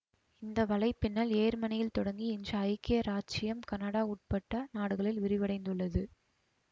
இந்த வலைப்பின்னல் யேர்மனியில் தொடங்கி இன்று ஐக்கிய இராச்சியம் கனடா உட்பட்ட நாடுகளில் விரிவடைந்துள்ளது